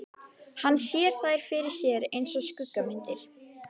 Hann sér þær fyrir sér einsog skuggamyndir.